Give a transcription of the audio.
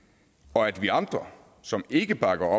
og at vi andre som ikke bakker